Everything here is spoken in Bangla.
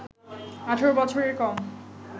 ১৮ বছরের কম